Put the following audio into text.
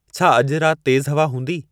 छा अॼु राति तेज़ु हवा हूंदी